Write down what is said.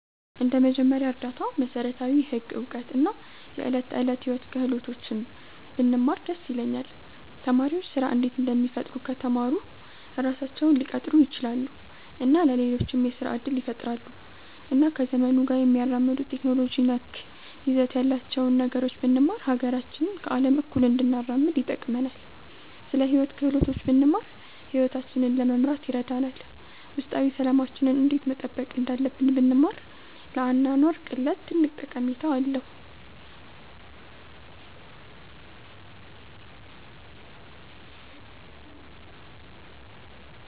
እንደ መጀመሪያ እርዳታ፣ መሠረታዊ ህግ እውቀት እና የዕለት ተዕለት ሕይወት ክህሎቶች ብንማር ደስ ይለኛል። ተማሪዎች ስራ እንዴት እንደሚፈጥሩ ከተማሩ ራሳቸውን ሊቀጥሩ ይችላሉ እና ለሌሎችም የስራ እድል ይፈጥራሉ። እና ከዘመኑ ጋር የሚያራምዱ ቴክኖሎጂ ነክ ይዘት ያላቸውን ነገሮች ብንማር ሀገራችንን ከአለም እኩል እንድናራምድ ይጠቅመናል። ስለ ሂወት ክህሎቶች ብንማር ሂወታችንን ለመምራት ይረዳናል። ውስጣዊ ሠላማችንን እንዴት መጠበቅ እንዳለብን ብንማር ለአኗኗር ቅለት ትልቅ ጠቀሜታ አለዉ።